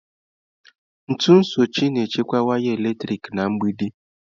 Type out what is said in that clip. Ntu sochie na-echekwa waya eletrik na mgbidi.